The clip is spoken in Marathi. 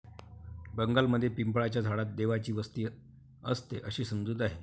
बंगालमध्ये पिंपळाच्या झाडात देवांची वस्ती असते, अशी समजूत आहे